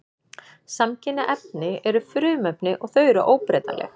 Samkynja efni eru frumefni og þau eru óbreytanleg.